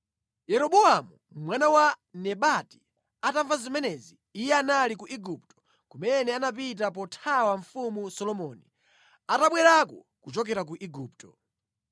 Yeroboamu mwana wa Nebati atamva zimenezi (Iye anali ku Igupto, kumene anapita pothawa mfumu Solomoni) anabwerako kuchokera ku Igupto.